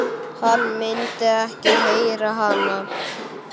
Hann myndi ekki heyra hana.